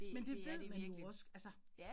Men det ved man jo også altså